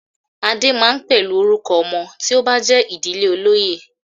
"Adé" máa ń pẹ̀lú orúkọ ọmọ tí ó bá jé idije olóyè.